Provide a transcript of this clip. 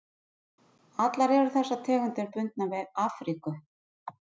Allar eru þessar tegundir bundnar við Afríku.